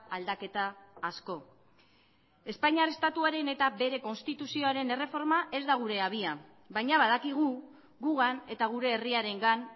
aldaketa asko espainiar estatuaren eta bere konstituzioaren erreforma ez da gure abia baina badakigu gugan eta gure herriarengan